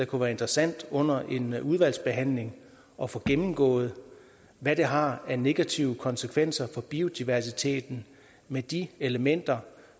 kunne være interessant under en udvalgsbehandling at få gennemgået hvad det har af negative konsekvenser for biodiversiteten med de elementer